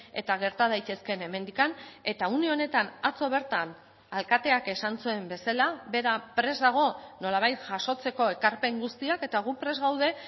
eta gerta daitezkeen hemendik eta une honetan atzo bertan alkateak esan zuen bezala bera prest dago nolabait jasotzeko ekarpen guztiak eta gu prest gaude